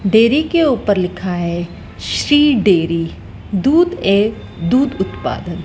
dairy के ऊपर लिखा है श्री डेयरी दूध एक दूध उत्पादक--